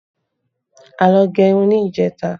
A lọ gẹ irun ní ìjẹta